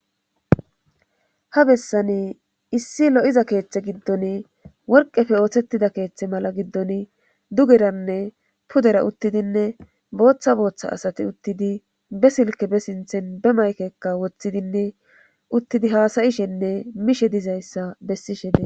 ha bessani issi lo7iza keeththe giddon worqefe ooththettida keeththe mala giddon dugeranne pudera uttidinne booththa booththa asati uttidi be silke be sinthen be maykekka woththidinne uttidi haasayishenne mishe dizayssa bessishe des